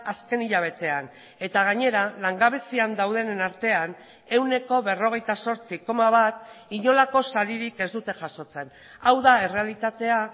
azken hilabetean eta gainera langabezian daudenen artean ehuneko berrogeita zortzi koma bat inolako saririk ez dute jasotzen hau da errealitatea